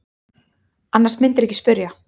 Annars mundirðu ekki spyrja.